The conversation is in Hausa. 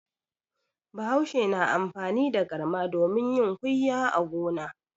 Bahaushe na amfani da garma domin yin kuyya a gona.